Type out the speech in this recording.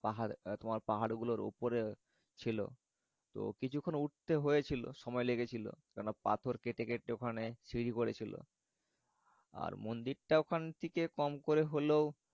পাহাড় মানে পাহাড়গুলোর উপরে ছিল তো কিচক্ষন উঠতে হয়েছিল। সময় লেগেছিল কেনও না পাথর কেটে কেটে ওখানে সিঁড়ি করেছিল। আর মন্দিরটা ওখানে থেকে কম করে হলেও